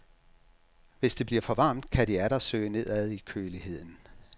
Hvis det bliver for varmt, kan de atter søge nedad i køligheden.